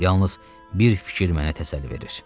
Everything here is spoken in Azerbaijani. Yalnız bir fikir mənə təsəlli verir.